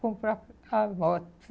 comprar a moto.